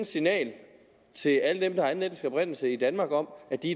signal til alle dem der har anden etnisk oprindelse i danmark om at de